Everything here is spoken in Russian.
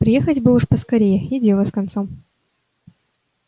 приехать бы уж поскорее и дело с концом